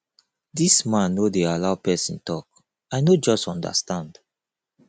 dis man no dey allow person talk i no just understand